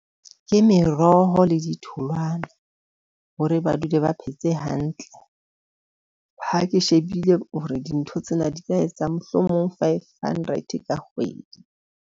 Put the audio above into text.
Ke meroho le ditholwana hore ba dule ba phetse hantle. Ha ke shebile hore dintho tsena di ka etsa mohlomong five hundred ka kgwedi.